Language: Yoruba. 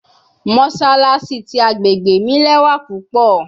Mossalassi ti agbegbe mi lẹwa pupọ